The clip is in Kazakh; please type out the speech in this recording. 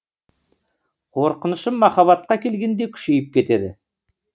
қорқынышым махаббатқа келгенде күшейіп кетеді